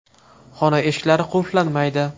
Xona eshiklari qulflanmaydi.